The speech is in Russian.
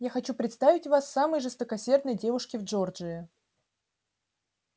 я хочу представить вас самой жесткосердной девушке в джорджии